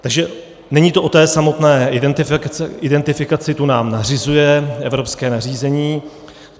Takže není to o té samotné identifikaci, tu nám nařizuje evropské nařízení.